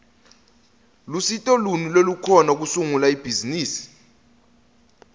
lusito luni lolukhona kusungula ibhizimisi